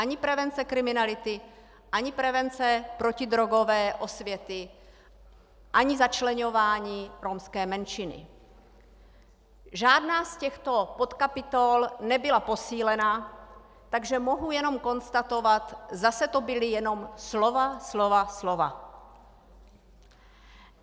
Ani prevence kriminality, ani prevence protidrogové osvěty, ani začleňování romské menšiny, žádná z těchto podkapitol nebyla posílena, takže mohu jenom konstatovat - zase to byla jenom slova, slova, slova.